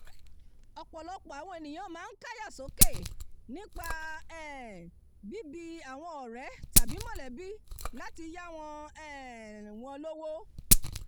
ọ̀pọ̀lọpọ̀ àwọn ènìyàn máa ń káyà sókè nípa um bíbi àwọn ọ̀rẹ́ tàbí mọ̀lẹ́bí láti yá um wọn lówó